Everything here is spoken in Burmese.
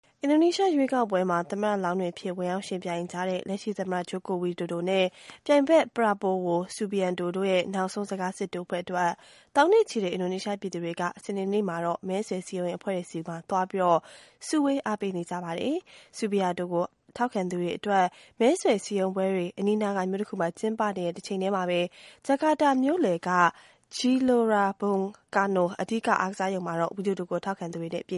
အင်ဒိုနီးရှား ရွေးကောက်ပွဲမှာ သမ္မတလောင်းတွေအဖြစ် ဝင်ရောက်ယှဉ်ပြိုင်ကြတဲ့ လက်ရှိသမ္မတ Joko Widodo နဲ့ ပြိုင်ဖက် Prabowo Subianto တို့ရဲ့ နောက်ဆုံးစကားစစ်ထိုးပွဲအတွက် သောင်းနဲ့ချီတဲ့ အင်ဒိုနီးရှားပြည်သူတွေ စနေနေ့မှာတော့ မဲဆွယ်စည်းရုံးရေးအဖွဲ့တွေဆီမှာ စုဝေးပြီး လာရောက်အားပေးနေကြပါတယ်။ Subianto ကို ထောက်ခံသူတွေအတွက် မဲဆွယ်စည်းရုံးပွဲက အနီးနားက မြို့တခုမှာ ကျင်းပနေတဲ့တချိန်တည်းမှာပဲ ဂျကာတာမြို့လယ်က Gelora Bung Karno အဓိကအားကစားရုံမှာ Widodo ကို ထောက်ခံသူတွေနဲ့ ပြ